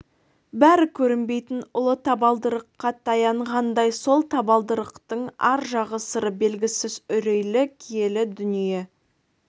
бәрі көрінбейтін ұлы табалдырыққа таянғандай сол табалдырықтың ар жағы сыры белгісіз үрейлі киелі дүние